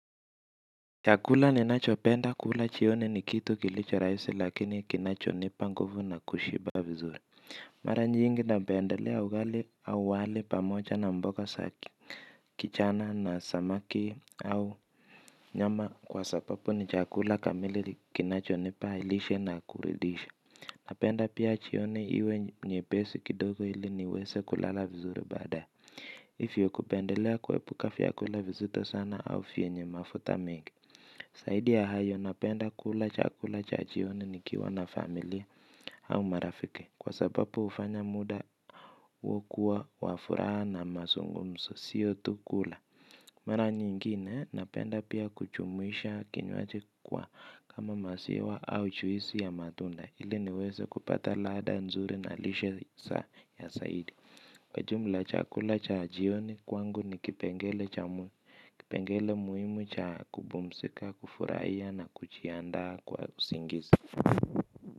Chakula ninachopenda kula jioni ni kitu kilicho rahisi lakini kinachonipa nguvu na kushiba vizuri. Mara nyingi napendelea ugali au wali pamoja na mboga za ki kichana na samaki au nyama kwa sababu ni chakula kamili kinachonipa lishe na kuridisha. Napenda pia jioni we nyepesi kidogo ili niweze kulala vizuri badae hivyo kupendelea kuepuka vyakula vizito sana au vyenye mafuta mengi zaidi ya hayo napenda kula chakula cha jioni nikiwa na familia au marafiki. Kwa sababu hufanya muda wokuwa wa furaha na mazungumzo siyo tu kula. Mara nyingine napenda pia kujumwisha kinywaji kwa kama maziwa au juisi ya matunda ili niweze kupata ladha nzuri na lishe zaidi. Kwa jumla chakula cha jioni kwangu ni kipengele muhimu cha kupumzika kufurahia na kujiandaa kwa usingizi.